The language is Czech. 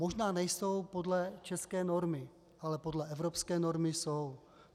Možná nejsou podle české normy, ale podle evropské normy jsou.